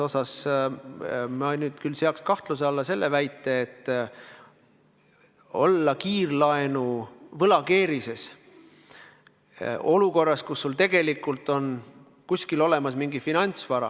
Ma küll seaks kahtluse alla väite, et tuleks edasi olla kiirlaenuvõla tõttu keerulises olukorras, kui sul tegelikult on kuskil olemas mingi finantsvara.